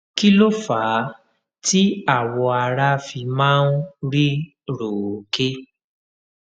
kí ló fà á tí awọ ara fi máa ń rí róòké